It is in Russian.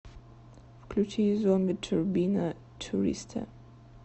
включи зомби турбина туриста